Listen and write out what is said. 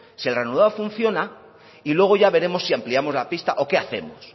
si el ranurado funciona y luego ya veremos si ampliamos la pista o qué hacemos